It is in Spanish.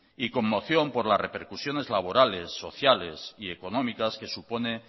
y conmoción por las repercusiones laborales sociales y económicas que supone